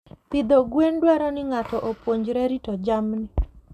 Pidho gwen dwaro ni ng'ato opuonjre rito jamni.